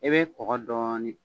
I bɛ kɔkɔ dɔɔnin